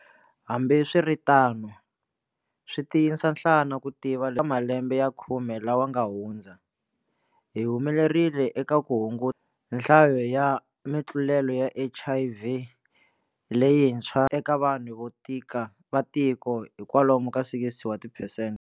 Hambiswiritano, swi tiyisa nhlana ku tiva ka malembe ya khume lawa ma nga hundza, hi humelerile eka nhlayo ya mitlulelo ya HIV leyintshwa eka vanhu va tiko hi kwalomu ka 60 wa tiphesente.